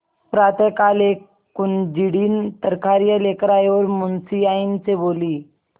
प्रातःकाल एक कुंजड़िन तरकारियॉँ लेकर आयी और मुंशियाइन से बोली